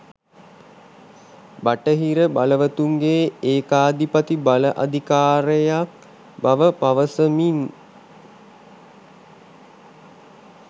බටහිර බලවතුන්ගේ ඒකාධිපති බල අධිකාරියක් බව පවසමින්